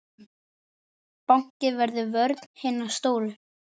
Báknið verður vörn hinna stóru.